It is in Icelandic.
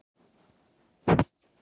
Evrópski seðlabankinn sýnir vígtennurnar